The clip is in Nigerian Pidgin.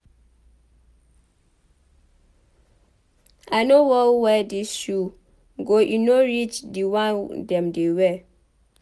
I no wan wear dis shoe go e no reach the one dem dey wear.